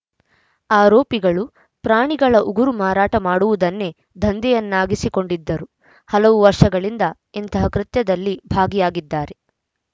ಆರೋಪಿಗಳು ಪ್ರಾಣಿಗಳ ಉಗುರು ಮಾರಾಟ ಮಾಡುವುದನ್ನೇ ದಂಧೆಯನ್ನಾಗಿಸಿಕೊಂಡಿದ್ದರು ಹಲವು ವರ್ಷಗಳಿಂದ ಇಂತಹ ಕೃತ್ಯದಲ್ಲಿ ಭಾಗಿಯಾಗಿದ್ದಾರೆ